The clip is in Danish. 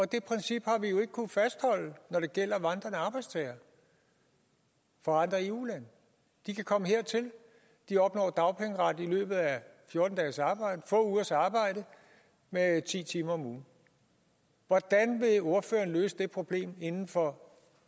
det princip har vi jo ikke kunnet fastholde når det gælder vandrende arbejdstagere fra andre eu lande de kan komme hertil de opnår dagpengeret i løbet af få ugers arbejde med ti timer om ugen hvordan vil ordføreren løse det problem inden for